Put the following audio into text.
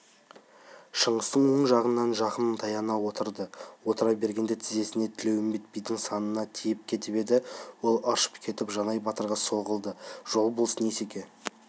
шыңғыстың оң жағынан жақын таяна отырды отыра бергенде тізесі тілеуімбет бидің санына тиіп кетіп еді ол ыршып кетіп жанай батырға соғылды жол болсын есеке